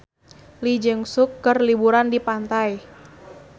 Lee Jeong Suk keur liburan di pantai